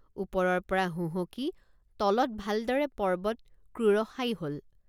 ওপৰৰপৰা হুহঁকি তলত ভালদৰে পৰ্বত ক্ৰোড়শায়ী হল।